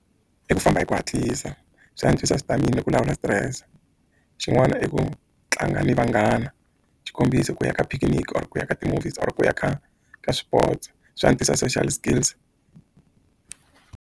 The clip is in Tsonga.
I ku famba hi ku hatlisa swi antswisa stamina ni ku lawula stress xin'wana i ku tlanga ni vanghana xikombiso ku ya ka picnic or ku ya ka ti-movies or ku ya ka ka sports swi antswisa social skills.